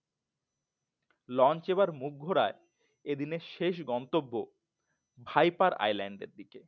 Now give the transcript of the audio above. Launch এবার মুখ ঘুরায় এদিনের শেষ গন্তব্য ভাইপার Island এর দিকে।